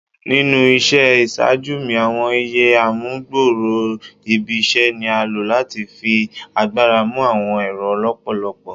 Ninu iṣẹ iṣaaju mi ​​awọn iÿë amugbooro ibi iṣẹ ni a lo lati fi agbara mu awọn ẹrọ lọpọlọpọ